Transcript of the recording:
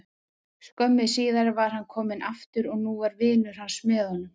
Skömmu síðar var hann kominn aftur og nú var vinur hans með honum.